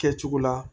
Kɛcogo la